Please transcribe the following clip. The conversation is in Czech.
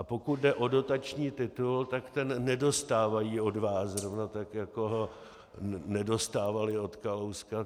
A pokud jde o dotační titul, tak ten nedostávají od vás, zrovna tak jako ho nedostávaly od Kalouska.